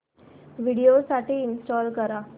Windows साठी install कर